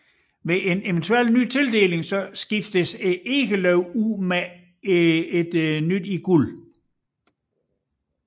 Ved en eventuel ny tildeling skiftes egeløvet ud med et i guld